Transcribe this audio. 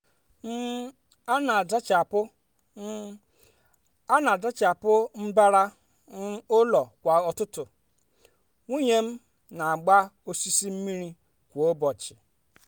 um a n'azachapụ um a n'azachapụ mbara um ụlọ kwa ụtụtụ nwunye m n'agba osisi mmiri kwa ụbọchị